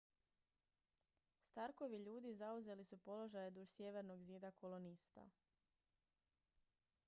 starkovi ljudi zauzeli su položaje duž sjevernog zida kolonista